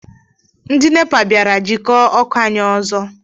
Ndị NEPA bịara jikọọ ọkụ anyị ọzọ.